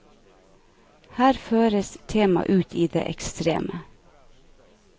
Her føres temaet ut i det ekstreme.